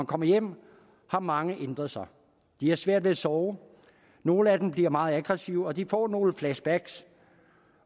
kommer hjem har mange ændret sig de har svært ved at sove nogle af dem bliver meget aggressive og de får nogle flashback